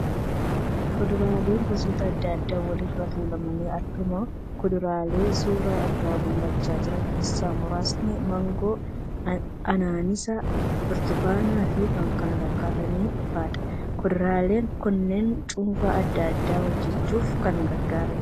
Fuduraaleen gosoota adda addaa walirra tuulamanii argamu. Kuduraalee suura irraa mul'achaa jira keessaa muraasni maangoo, anaanaasii, burtukaana fi kan kana fakkaatan faadha. Kuduraalee kunneen cuunfaa adda addaa hojjachuuf kan gargaaraniidha.